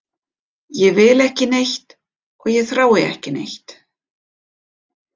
Ég vil ekki neitt og ég þrái ekki neitt.